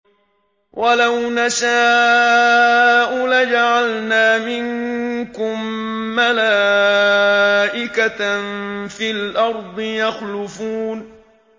وَلَوْ نَشَاءُ لَجَعَلْنَا مِنكُم مَّلَائِكَةً فِي الْأَرْضِ يَخْلُفُونَ